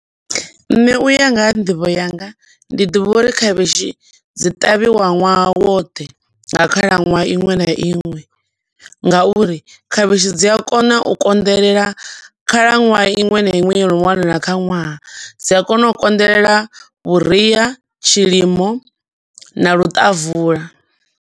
Nṋe uya nga ha nḓivho yanga ndi ḓivha uri khavhishi dzi ṱavhiwa ṅwaha woṱhe nga khalaṅwaha iṅwe na iṅwe, nga uri khavhishi dzi a kona u konḓelela khalaṅwaha iṅwe na iṅwe yo no wanala kha ṅwaha. Dzi a kona u konḓelela vhuria, tshilimo na luṱavula.